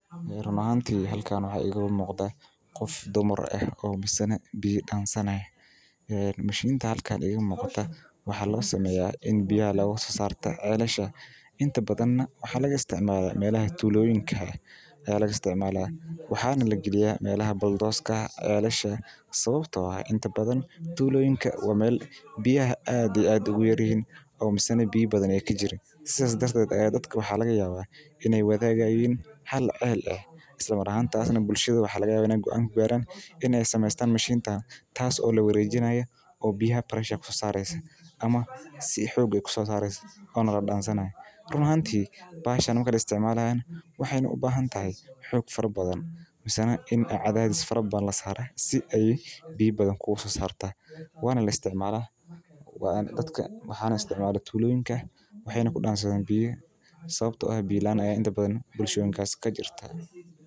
Halkan waxaa iiga muuqda qof dumar ah oo biya Damani haayo waxaa waye sida loo isticmaalo cunooyinka ufican tahay wadnaha iyo kansarka qaarkood masdulaagi waxeey leeyihiin faidoyin fara badan ayeey qabtaa inaad haysato warqadaha walidinta ama dimashada boqolaal qof cidamada deeganka ayaa laga helaa hilib mida kowaad.